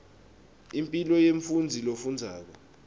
impilo yemfundzi lofundzako